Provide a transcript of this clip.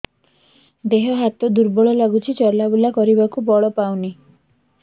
ଦେହ ହାତ ଦୁର୍ବଳ ଲାଗୁଛି ଚଲାବୁଲା କରିବାକୁ ବଳ ପାଉନି